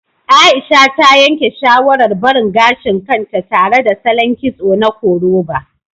Aisha ta yanke shawarar barin gashin kanta tare da salon kitso na koroba